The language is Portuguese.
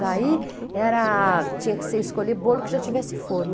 Daí era, tinha que escolher bolo que já tivesse forma.